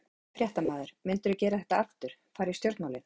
Fréttamaður: Myndirðu gera þetta aftur, fara í stjórnmálin?